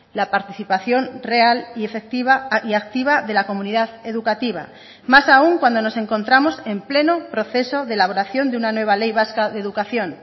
la participación real y efectiva y activa de la comunidad educativa más aun cuando nos encontramos en pleno proceso de elaboración de una nueva ley vasca de educación